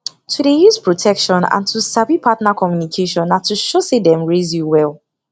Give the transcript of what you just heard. to dey use protection and to sabi partner communication na to show say dem raise you well